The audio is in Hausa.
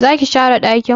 Zaki share dakin?